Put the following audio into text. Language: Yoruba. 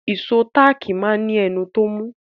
Ìṣó táàkì máa ní ẹnu tó mú.